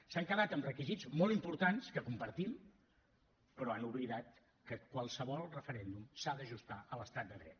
s’han quedat amb requisits molt importants que compartim però han oblidat que qualsevol referèndum s’ha d’ajustar a l’estat de dret